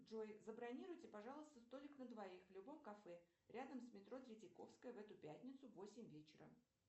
джой забронируйте пожалуйста столик на двоих в любом кафе рядом с метро третьяковская в эту пятницу в восемь вечера